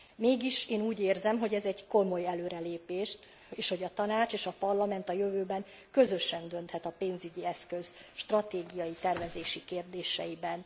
Mégis, én úgy érzem, hogy ez egy komoly előrelépés, és hogy a Tanács és a Parlament a jövőben közösen dönthet a pénzügyi eszköz stratégiai tervezési kérdéseiben.